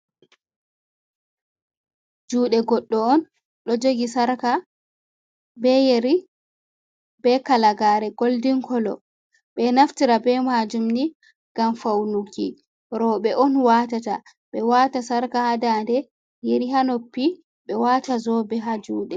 Juuɗe goɗɗo on, ɗo jogi sarka, be yeri, be kalagaare goldin kolo. Ɓe ɗo naftira be maajum ni, ngam fawnuki rowɓe on watata, ɓe waata sarka ha daande, yeri haa noppi, ɓe waata zoobe haa juuɗe.